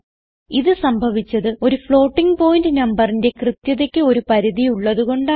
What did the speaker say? ഇത് സംഭവിച്ചത് ഒരു ഫ്ലോട്ടിംഗ് പോയിന്റ് നമ്പറിന്റെ കൃത്യതയ്ക്ക് ഒരു പരിധി ഉള്ളത് കൊണ്ടാണ്